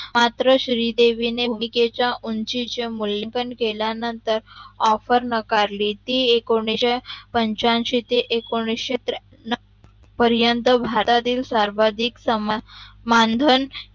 मात्र श्रीदेविणे भूमिकेचा उंचीच्या मूलेखन केल्या नंतर Offer नाकारली ते एकोणविशे पंच्यांशी ते एकोणविशे त्र्यांशी पर्यन्त भारतातील सर्वाधिक